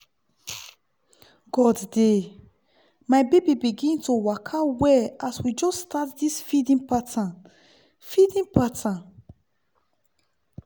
god dey! my baby begin to waka well as we just start this feeding pattern feeding pattern